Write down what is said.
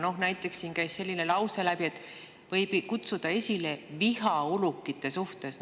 Näiteks käis siin läbi selline lause, et see võib kutsuda esile viha ulukite suhtes.